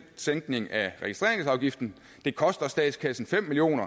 sænkning af registreringsafgiften koster statskassen fem million